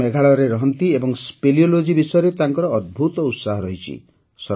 ସେ ମେଘାଳୟରେ ରହନ୍ତି ଏବଂ ସ୍ଫେଲିଓଲୋଜୀ ବିଷୟରେ ତାଙ୍କର ଅଦ୍ଭୁତ ଉତ୍ସାହ ରହିଛି